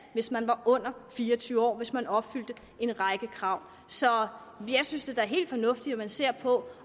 hvis man var under fire og tyve år hvis man opfyldte en række krav så jeg synes da det er helt fornuftigt at man ser på